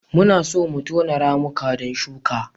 Muna so mu tono ramuka don shuka.